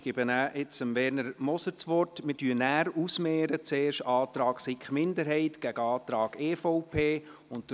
Ich gebe nun Werner Moser das Wort, danach mehren wir zuerst den Antrag der SiK-Minderheit gegen den Antrag der EVP aus.